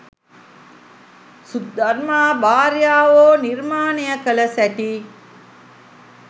සුධර්මා 'භාර්යාවෝ' නිර්මාණය කළ සැටි